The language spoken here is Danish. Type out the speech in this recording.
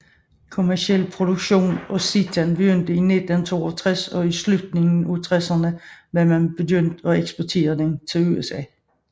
Kommerciel produktion af seitan begyndte i 1962 og i slutningen af tresserne var man begyndt at eksportere den til USA